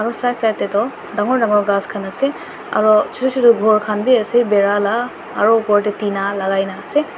aro side side tey toh dangor dangor ghas khan ase aro chutu chutu ghor khan bhi ase bera la aro upor tey tina lagai na ase.